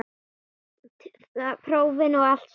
Prófin og allt samana.